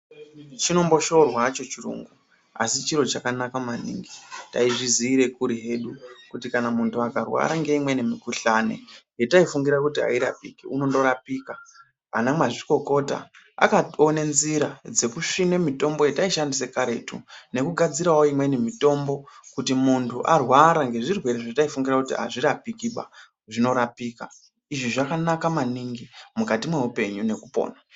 Chinomboshorwa hacho chirungu asi chiro chakanaka maningi taizvizire kuri hedu kuti muntu akarwara ngeimweni mikhuhlani yataifungire kuti airapiki unondorapika anamazvikokota akatoone nzira dzekusvina mitombo yataishandise karetu nekugadzirawo imweni mitombo kuti munhu arwara ngezvirwere zvataifunge kuti azvirapiki zvinorapika izvi zvakanaka maningi mukati mweupenyu nekupona.